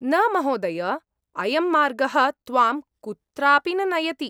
न, महोदय। अयं मार्गः त्वां कुत्रापि न नयति।